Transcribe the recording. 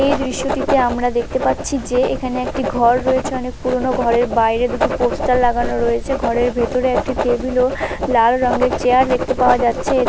এই দৃশ্যটিতে আমরা দেখতে পাচ্ছি যে এখানে একটি ঘর রয়েছে অনেক পুরনো। ঘরের বাইরে দুটি পোস্টার লাগানো রয়েছে। ঘরের ভেতরে একটি টেবিল ও লাল রংয়ের চেয়ার দেখতে পাওয়া যাচ্ছে। এ--